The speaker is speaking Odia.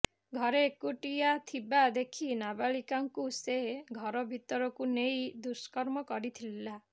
ଘରେ ଏକୁଟିଆ ଥିବା ଦେଖି ନାବାଳିକାଙ୍କୁ ସେ ଘର ଭିତରକୁ ନେଇ ଦୁଷ୍କର୍ମ କରିଥିଲା